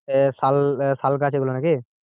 এ শাল শালগাছ এগুলো নাকি?